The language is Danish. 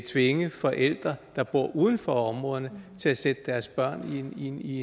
tvinge forældre der bor uden for områderne til at sætte deres børn i